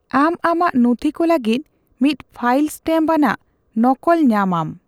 ᱟᱢ ᱟᱢᱟᱜ ᱱᱩᱛᱷᱤ ᱠᱚ ᱞᱟᱹᱜᱤᱫ ᱢᱤᱫ ᱯᱷᱟᱭᱤᱞᱼᱥᱴᱟᱢᱯ ᱟᱱᱟᱜ ᱱᱚᱠᱚᱞ ᱧᱟᱢ ᱟᱢ ᱾